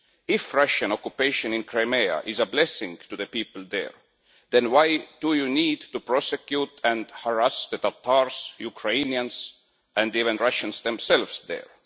If Russian occupation in Crimea is a blessing to the people there, then why do you need to prosecute and harass the Tatars, Ukrainians and even Russians themselves there?